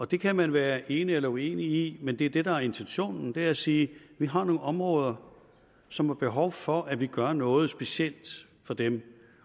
det kan man være enig eller uenig i men det det der er intentionen er at sige vi har nogle områder som har behov for at vi gør noget specielt for dem